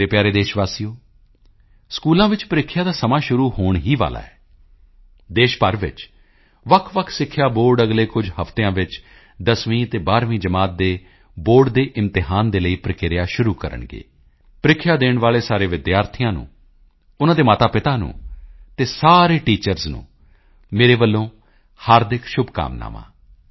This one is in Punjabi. ਮੇਰੇ ਪਿਆਰੇ ਦੇਸ਼ ਵਾਸੀਓ ਸਕੂਲਾਂ ਵਿੱਚ ਪ੍ਰੀਖਿਆ ਦਾ ਸਮਾਂ ਸ਼ੁਰੂ ਹੋਣ ਹੀ ਵਾਲਾ ਹੈ ਦੇਸ਼ ਭਰ ਵਿੱਚ ਵੱਖਵੱਖ ਸਿੱਖਿਆ ਬੋਰਡ ਅਗਲੇ ਕੁਝ ਹਫ਼ਤਿਆਂ ਵਿੱਚ 10ਵੀਂ ਅਤੇ 12ਵੀਂ ਜਮਾਤ ਦੇ ਬੋਰਡ ਦੇ ਇਮਤਿਹਾਨ ਦੇ ਲਈ ਪ੍ਰਕਿਰਿਆ ਸ਼ੁਰੂ ਕਰਨਗੇ ਪ੍ਰੀਖਿਆ ਦੇਣ ਵਾਲੇ ਸਾਰੇ ਵਿਦਿਆਰਥੀਆਂ ਨੂੰ ਉਨ੍ਹਾਂ ਦੇ ਮਾਤਾਪਿਤਾ ਨੂੰ ਅਤੇ ਸਾਰੇ ਟੀਚਰਜ਼ ਨੂੰ ਮੇਰੇ ਵੱਲੋਂ ਹਾਰਦਿਕ ਸ਼ੁਭਕਾਮਨਾਵਾਂ ਹਨ